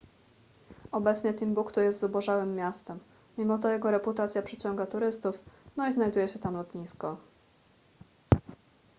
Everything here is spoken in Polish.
obecnie timbuktu jest zubożałym miastem mimo to jego reputacja przyciąga turystów no i znajduje się tam lotnisko